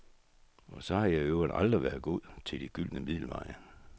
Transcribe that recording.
Og så har jeg i øvrigt aldrig været god til de gyldne middelveje.